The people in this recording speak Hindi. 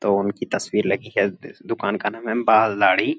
तो उनकी तस्वीर लगी है। द्-दुकान का नाम है बाल दाड़ी ।